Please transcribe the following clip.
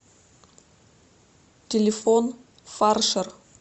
телефон фаршер